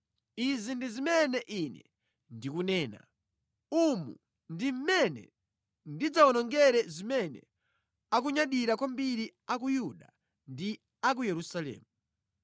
“Izi ndi zimene ine ndikunena: ‘Umu ndi mmene ndidzawonongere zimene akunyadira kwambiri a ku Yuda ndi a ku Yerusalemu.